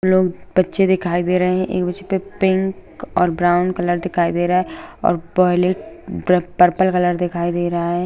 लोग बच्चे दिखाई दे रहें हैं एक बच्चे पे पिंक और ब्राउन कलर दिखाई दे रहा है और वायलेट पर्पल कलर दिखाई दे रहा है।